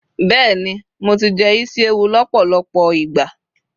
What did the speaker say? béèni mo ti jẹ isi ẹwù lọpọlọpọ ìgbà